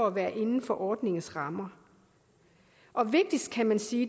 at være inden for ordningens rammer og vigtigst kan man sige